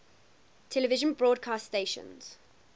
television broadcast stations